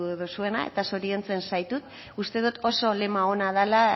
duzuena eta zoriontzen zaitut uste dot oso lema ona dala